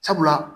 Sabula